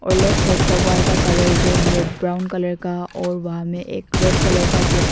और left side का wall का कलर जो है ब्राउन कलर का और वहां में एक रेड कलर का बॉक्स --